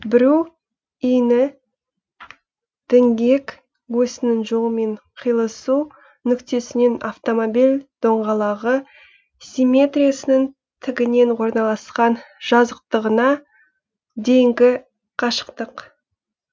бүру иіні діңгек өсінің жолымен киылысу нүктесінен автомобиль доңғалағы симметриясының тігінен орналасқан жазықтығына дейінгі қашықтық